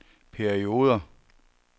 perioder